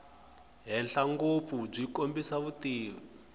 henhla ngopfu byi kombisa vutivi